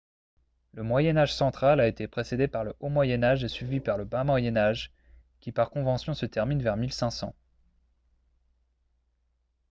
le moyen âge central a été précédé par le haut moyen âge et suivi par le bas moyen âge qui par convention se termine vers 1500